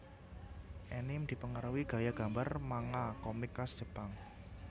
Anime dipengaruhi gaya gambar manga komik khas Jepang